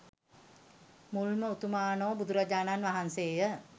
මුල්ම උතුමාණෝ බුදුරජාණන් වහන්සේ ය.